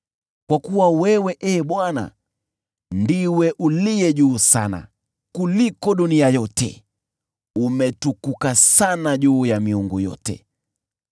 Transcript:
Kwa kuwa wewe, Ee Bwana , ndiwe Uliye Juu Sana kuliko dunia yote; umetukuka sana juu ya miungu yote.